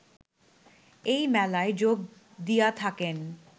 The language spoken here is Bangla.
এই মেলায় যোগ দিয়া থাকেন